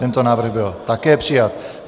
Tento návrh byl také přijat.